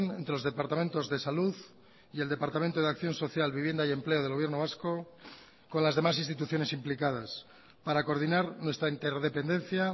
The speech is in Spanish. entre los departamentos de salud y el departamento de acción social vivienda y empleo del gobierno vasco con las demás instituciones implicadas para coordinar nuestra interdependencia